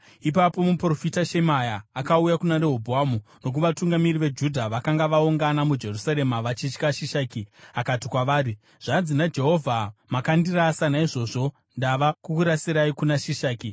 Ipapo muprofita Shemaya akauya kuna Rehobhoamu nokuvatungamiri veJudha vakanga vaungana muJerusarema vachitya Shishaki, akati kwavari, “Zvanzi naJehovha: ‘Makandirasa; naizvozvo zvino ndava kukurasirai kuna Shishaki.’ ”